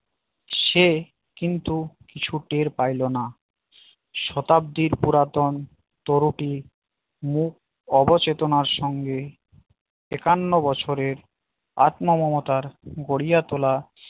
সে কিন্তু কিছু টের পাইলো না শতাব্দি পুরাতন ত্রুটি মুখ অবচেতনার সঙ্গে একান্ন বছরের আত্মম মমতার গড়িয়া তোলা